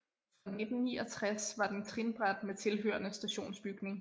Fra 1969 var den trinbræt med tilhørende stationsbygning